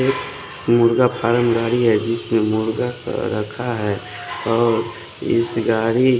एक मुर्गा जिसमे मुर्गा सा रखा है और इस गारी --